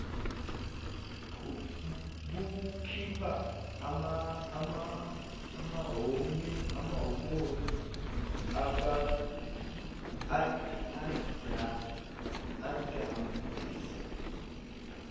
bukhipha amahomoni adambisa